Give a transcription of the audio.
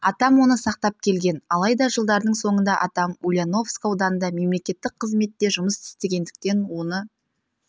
атам оны сақтап келген алайда жылдардың соңында атам ульяновск ауданында мемлекеттік қызметте жұмыс істегендіктен оны